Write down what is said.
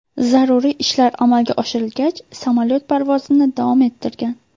Zaruriy ishlar amalga oshirilgach, samolyot parvozini davom ettirgan.